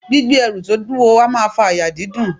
Gbígbé ẹrù to wuwo a maa fa àyà dídùn